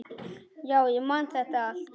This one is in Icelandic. Já, ég man þetta allt.